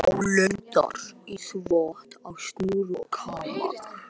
Álengdar sá í þvott á snúru og kamar.